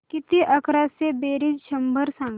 किती अकराशे बेरीज शंभर सांग